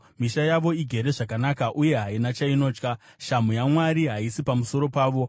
Misha yavo igere zvakanaka uye haina chainotya; shamhu yaMwari haisi pamusoro pavo.